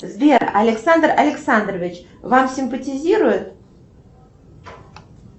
сбер александр александрович вам симпатизирует